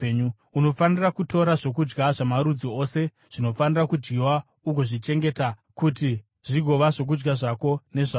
Unofanira kutora zvokudya zvamarudzi ose zvinofanira kudyiwa ugozvichengeta kuti zvigova zvokudya zvako nezvazvo.”